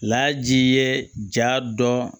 Laji ye jaa dɔn